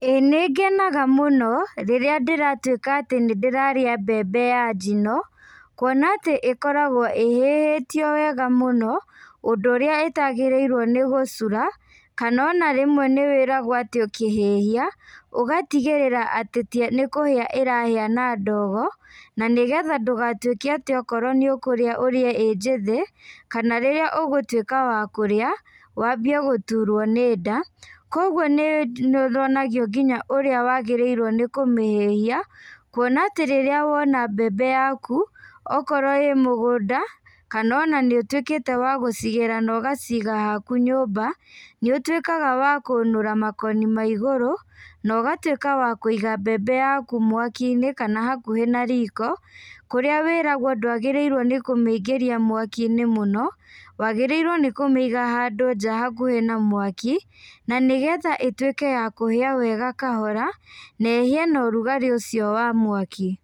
Ĩĩ nĩngenaga mũno, rĩrĩa ndĩratuĩka atĩ nĩndĩrarĩa mbembe ya njino, kuona atĩ ĩkoragwo ĩhĩhĩtio wega mũno, ũndũ ũrĩa itagĩrĩirwo nĩ gũcura, kana ona rĩmwe nĩwĩragwo atĩ ũkĩhĩhia, ũgatigĩrĩra atĩ nĩkũhĩa ĩrahĩa na ndogo, na nĩgetha ndũgatuĩke atĩ okorwo nĩũkũrĩa ũrĩe ĩ njĩthĩ, kana rĩrĩa ũgũtuĩka wa kũrĩa, wambie gũturwo nĩ nda, koguo nĩ nĩwonago nginya ũrĩa wagĩrĩirwo nĩ kũmĩhĩhia, kuona atĩ rĩrĩa wona mbembe yaku, okorwo ĩ mũgũnda, kana ona nĩũtuĩkĩte wa gũcigĩra na ũgaciga haku nyũmba, nĩũtuĩkaga wa kũnũra makoni ma igũrũ, na ũgatuĩka wa kũiga mbembe yaku mwakini, kana hakuhĩ na riko, kũrĩa wĩragwo ndwagĩrĩirwo nĩ kũmĩingĩria mwakinĩ mũno, wagĩrĩirwo nĩ kũmĩiga handũ nja hakuhĩ na mwaki, na nĩgetha ituĩke ya kũhĩa wega kahora, na ĩhĩe na ũrugarĩ ũcio wa mwaki.